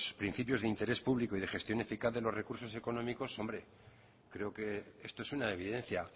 principios de interés público y de gestión eficaz de los recursos económicos hombre creo que esto es una evidencia